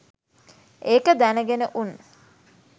ඒක දැනගෙන උන්